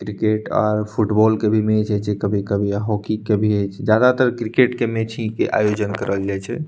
Cricket और football के भी मैच होय छै कभी-कभी हॉकी के भी हेय छै मैच ज्यादातर क्रिकेट के मैच ही के आयोजन करल जाए छै।